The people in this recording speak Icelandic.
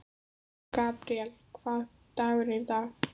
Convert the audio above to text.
Gabríel, hvaða dagur er í dag?